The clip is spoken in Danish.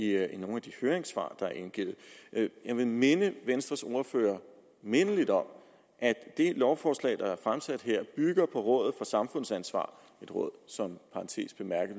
her i nogen af de høringssvar der er indgivet jeg vil minde venstres ordfører mindeligt om at det lovforslag der er fremsat her bygger fra rådet for samfundsansvar et råd som